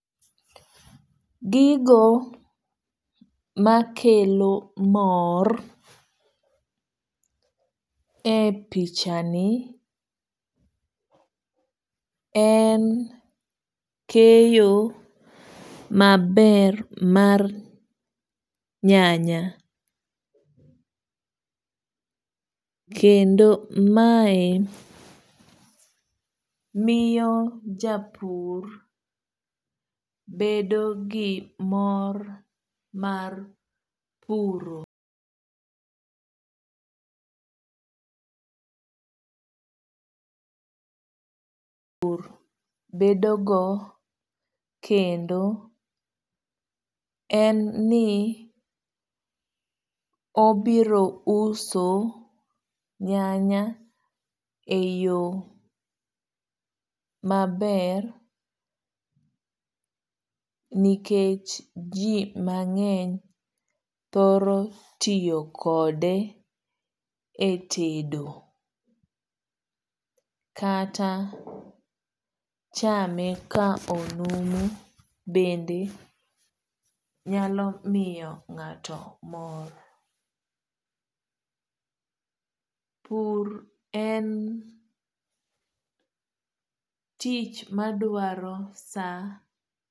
Gigo makelo mor e pichani en keyo maber mar nyanya. Kendo mae miyo japur bedo gi mor mar puro. Bedo go kendo en ni obiro uso nyanya e yo maber nikech ji mang'eny thoro tiyo kode e tedo kata chame ka onumu bende nyalo miyo ng'ato mor. Pur en tich madwaro sa.